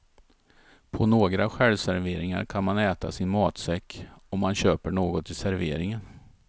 På några självserveringar kan man äta sin matsäck om man köper något i serveringen.